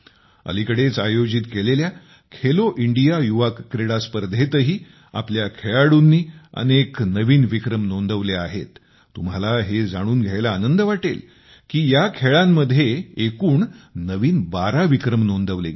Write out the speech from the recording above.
अलिकडेच आयोजित केलेल्या खेलो इंडिया युवा क्रीडा स्पर्धेतही आपल्या खेळाडूंनी अनेक नवीन विक्रम नोंदवले आहेत या खेळांमध्ये एकूण नवीन 12 विक्रम नोंदवले गेले